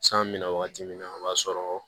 San bɛna wagati min na o b'a sɔrɔ